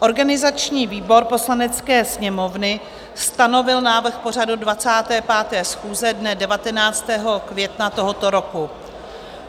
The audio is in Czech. Organizační výbor Poslanecké sněmovny stanovil návrh pořadu 25. schůze dne 19. května tohoto roku.